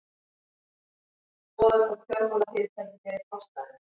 Skoðað hvort fjármálafyrirtæki beri kostnaðinn